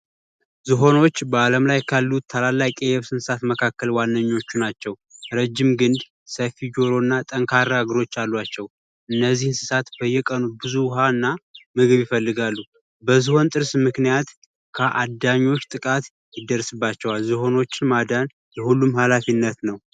ዝሆኖች በአለም ላይ ካሉት ትላልቅ የየብስ እንስሳት ዋነኞቹ ናቸው ረዥም እግር ፣ሰፊ ጀሮ እና ጠንካራ እግሮች አላቸው። እነዚህ እንስሳት በየቀኑ ብዙ ውሃ እና ምግብ ይፈለጋሉ። በዝሆን ጥርስ ምክንያት ከአዳኞች ጥቃት ይደርስባቸዋል። ዝሆኖችን ማዳን የሁሉም ሀላፊነት ነው።